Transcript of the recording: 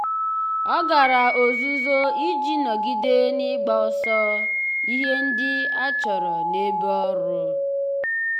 ọ́ gàrà ọ́zụ́zụ́ iji nọ́gídé n’ị́gbàsò ihe ndị e chọ́rọ́ n’ebe ọ́rụ́.